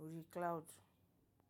orí cloud.